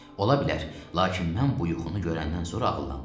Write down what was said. Ola bilər, lakin mən bu yuxunu görəndən sonra ağıllandım.